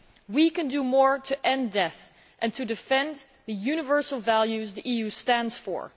We can do more to end death and to defend the universal values the EU stands for.